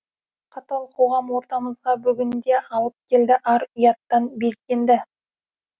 қатал қоғам ортамызға бүгінде алып келді ар ұяттан безгенді